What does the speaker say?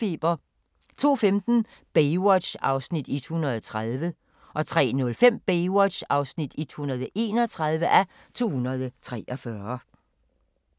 02:15: Baywatch (130:243) 03:05: Baywatch (131:243)